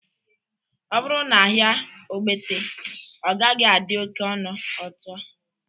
Ọ bụrụ na ahia Ogbete, ọ gaghị adị oke ọnụ otua